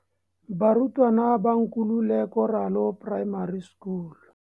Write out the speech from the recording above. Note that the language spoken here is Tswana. Barutwana ba Nkululeko Ralo Primary School.